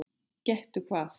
Gettu hvað?